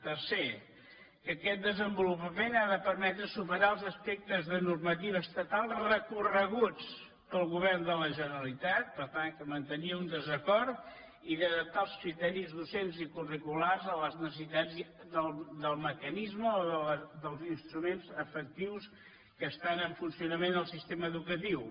tercer que aquest desenvolupament ha de permetre superar els aspectes de normativa estatal recorreguts pel govern de la generalitat per tant que hi mantenia un desacord i d’adaptar els criteris docents i curricu·lars a les necessitats del mecanisme o dels instruments efectius que estan en funcionament en el sistema edu·catiu